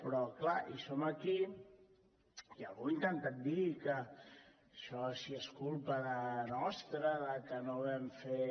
però clar som aquí i algú ha intentat dir que si això és culpa nostra que no vam fer